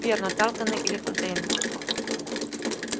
верно тарлтоны или фонтейны